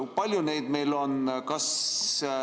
Kui palju meil neid on?